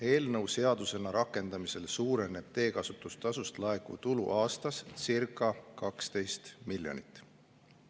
Eelnõu seadusena rakendamisel suureneb teekasutustasust laekuv tulu aastas circa 12 miljonit.